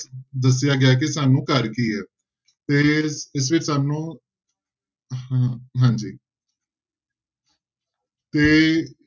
ਦੱਸਿਆ ਗਿਆ ਹੈ ਕਿ ਸਾਨੂੰ ਘਰ ਕੀ ਹੈ ਤੇ ਇਸ ਵਿੱਚ ਸਾਨੂੰ ਹਾਂ ਹਾਂਜੀ ਤੇ